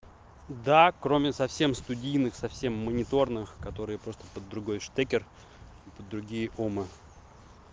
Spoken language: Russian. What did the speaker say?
да кроме совсем студийных совсем мониторных которые просто подругой штекер и подругие омы